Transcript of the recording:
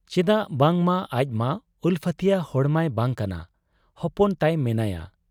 ᱪᱮᱫᱟᱜ ᱵᱟᱝᱢᱟ ᱟᱡᱢᱟ ᱩᱞᱯᱷᱟᱹᱛᱤᱭᱟᱹ ᱦᱚᱲ ᱢᱟᱭ ᱵᱟᱟᱝ ᱠᱟᱱᱟ ᱾ ᱦᱚᱯᱚᱱ ᱛᱟᱭ ᱢᱮᱱᱟᱭᱟ ᱾